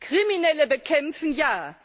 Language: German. Kriminelle bekämpfen ja!